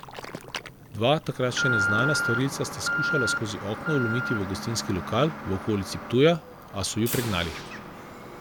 Dva takrat še neznana storilca sta skušala skozi okno vlomiti v gostinski lokal v okolici Ptuja, a so ju pregnali.